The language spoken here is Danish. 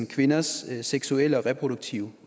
kvinders seksuelle og reproduktive